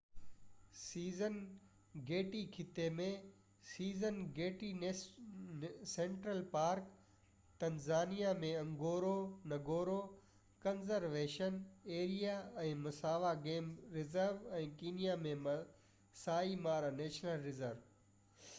Serengeti خطي ۾ Serengeti central park Tanzania ۾ Ngorongoro conservation area ۽ Maswa game reserve ۽ Kenya ۾ Maasai Mara national reserve